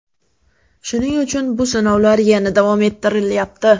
Shuning uchun bu sinovlar yana davom ettirilyapti.